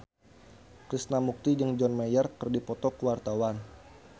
Krishna Mukti jeung John Mayer keur dipoto ku wartawan